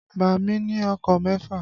Bàámi ní ọkọ̀ mẹ́fà.